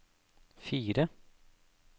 fire